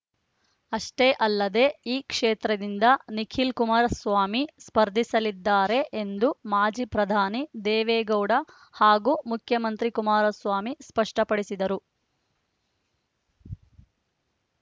ಅಷ್ಟೇ ಅಲ್ಲದೆ ಈ ಕ್ಷೇತ್ರದಿಂದ ನಿಖಿಲ್ ಕುಮಾರಸ್ವಾಮಿ ಸ್ಪರ್ಧಿಸಲಿದ್ದಾರೆ ಎಂದು ಮಾಜಿ ಪ್ರಧಾನಿ ದೇವೇಗೌಡ ಹಾಗೂ ಮುಖ್ಯಮಂತ್ರಿ ಕುಮಾರಸ್ವಾಮಿ ಸ್ಪಷ್ಟಪಡಿಸಿದ್ದರು